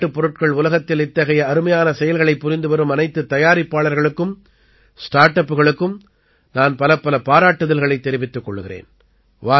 விளையாட்டுப் பொருட்கள் உலகத்தில் இத்தகைய அருமையான செயல்களைப் புரிந்து வரும் அனைத்துத் தயாரிப்பாளர்களுக்கும் ஸ்டார்ட் அப்புகளுக்கும் நான் பலப்பல பாராட்டுதல்களைத் தெரிவித்துக் கொள்கிறேன்